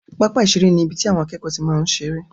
Pápá ìseré ni ibi tí àwọn akẹ́kọ̀ọ́ máa n tí seré